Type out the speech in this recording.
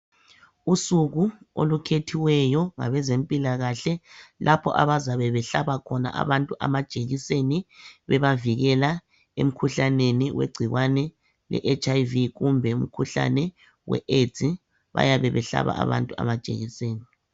Usuku olukhethiweyo ngabezempilakhle lapho abazabe behlaba khona abantu amajekiseni bebavikela emkhuhlaneni wegcikwane le HIV kumbe umkhuhlane we AIDS bayabe behlaba abantu amajekiseni